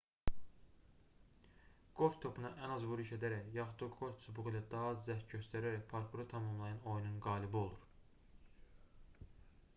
qolf topuna ən az vuruş edərək yaxud da qolf çubuğu ilə daha az cəhd göstərərək parkuru tamamlayan oyunun qalibi olur